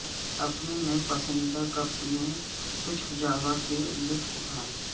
اپنے نئے پسندیدہ کپ میں کچھ جاوا کا لطف اٹھائیں